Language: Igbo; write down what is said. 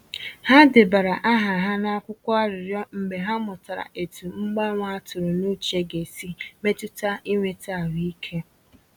Ha debara aha ha n’akwụkwọ arịrịọ mgbe ha mụtara etu mgbanwe a tụrụ n’uche ga esi mmetụta inweta ahụike.